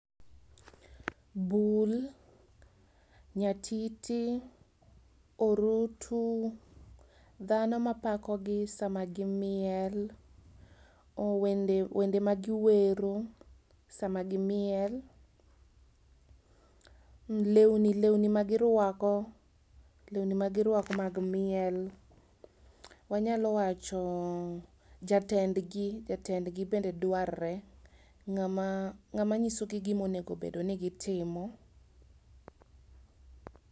Bul, nyatiti, orutu, dhano ma pako gi sama gimiel, wende wende ma giwero sama gimiel, lewni lewni ma girwako, lewni magirwako mag miel, wanyalo wacho jatendgi, jatendgi bende dwarre, ng'ama ng'ama nyisogi gima onego bed ni gitimo.